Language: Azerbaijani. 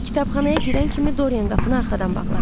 Kitabxanaya girən kimi Doryan qapını arxadan bağladı.